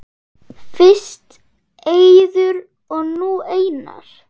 Fyrst Eiður og nú Einar??